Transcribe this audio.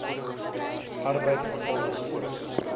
arbeid handel asook